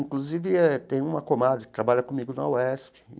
Inclusive eh, tem uma comadre que trabalha comigo na UESC.